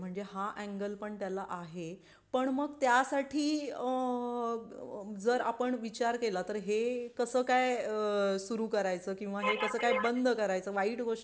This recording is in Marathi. म्हणजे हा ऍन्गल पण त्याला आहे पण मग त्यासाठी आहेजर आपण विचार केला तर हे कसं काय सुरू करायचं किंवा हे कास काय बंद करायचा वाईट गोष्टी